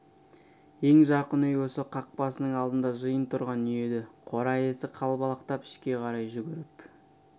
ең жақын үй осы қақпасының алдында жиын тұрған үй еді қора иесі қалбалақтап ішке қарай жүгіріп